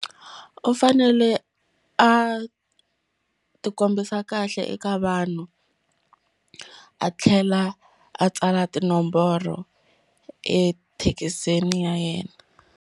U fanele a ti kombisa kahle eka vanhu a tlhela a tsala tinomboro ethekisini ya yena.